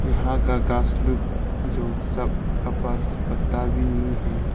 यहां का घास लोग जो सब कपास पत्ता भी नहीं है।